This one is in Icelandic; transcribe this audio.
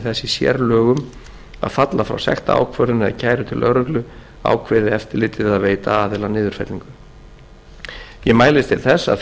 þess í sérlögum að falla frá sektarákvörðun eða kæru til lögreglu ákveði eftirlitið að veita aðila niðurfellingu ég mælist til þess að